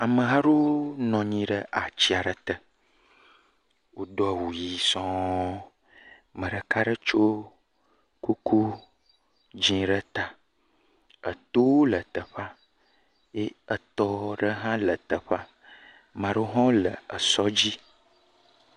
Ameha aɖewo nɔ anyi ɖe ati aɖe te, wodo awu ʋi sɔŋ, ame ɖeka aɖe tso kuku dzɛ̃ ɖe ta, etowo le teƒea eye etɔ ɖe hã le teƒea, ame aɖewo hã le esɔ dzi.